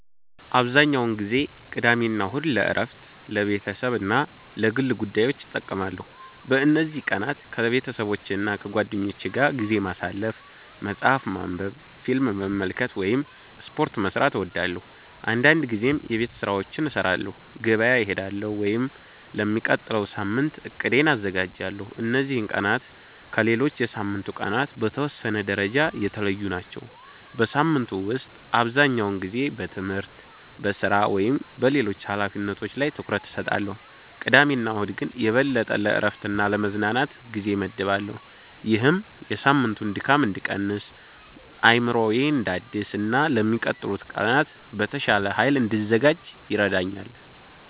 **"አብዛኛውን ጊዜ ቅዳሜና እሁድን ለእረፍት፣ ለቤተሰብ እና ለግል ጉዳዮች እጠቀማለሁ። በእነዚህ ቀናት ከቤተሰቦቼና ከጓደኞቼ ጋር ጊዜ ማሳለፍ፣ መጽሐፍ ማንበብ፣ ፊልም መመልከት ወይም ስፖርት መስራት እወዳለሁ። አንዳንድ ጊዜም የቤት ስራዎችን እሰራለሁ፣ ገበያ እሄዳለሁ ወይም ለሚቀጥለው ሳምንት እቅዴን አዘጋጃለሁ። እነዚህ ቀናት ከሌሎች የሳምንቱ ቀናት በተወሰነ ደረጃ የተለዩ ናቸው። በሳምንቱ ውስጥ አብዛኛውን ጊዜ በትምህርት፣ በሥራ ወይም በሌሎች ኃላፊነቶች ላይ ትኩረት እሰጣለሁ፣ ቅዳሜና እሁድ ግን የበለጠ ለእረፍትና ለመዝናናት ጊዜ እመድባለሁ። ይህም የሳምንቱን ድካም እንድቀንስ፣ አእምሮዬን እንዳድስ እና ለሚቀጥሉት ቀናት በተሻለ ኃይል እንድዘጋጅ ይረዳኛል።"